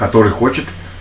который хочет